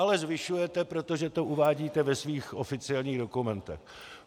- Ale zvyšujete, protože to uvádíte ve svých oficiálních dokumentech.